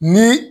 Ni